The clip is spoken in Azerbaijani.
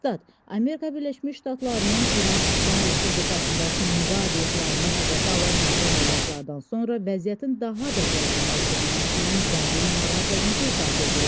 Stat: Amerika Birləşmiş Ştatlarının İran İslam Respublikasındakı nüvə obyektlərini hədəfə alan hərbi əməliyyatlardan sonra vəziyyətin daha da gərginləşdirilməsindən dərin narahatlığımızı ifadə edirik.